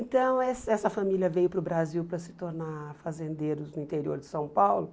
Então, essa essa família veio para o Brasil para se tornar fazendeiros no interior de São Paulo.